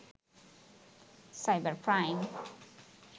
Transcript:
cyber crime